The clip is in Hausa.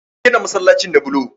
An gina masallacin da bulo